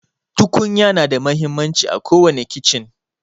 Tukunya na da muhimmanci à kowani kichen.